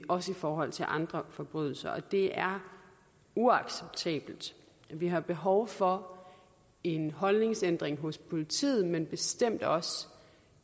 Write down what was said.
også i forhold til andre forbrydelser det er uacceptabelt vi har behov for en holdningsændring hos politiet men bestemt også